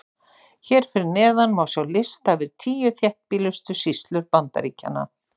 hér fyrir neðan má sjá lista yfir tíu þéttbýlustu sýslur bandaríkjanna